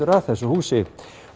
að þessu húsi